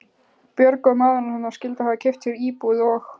Björg og maðurinn hennar skyldu hafa keypt sér íbúð og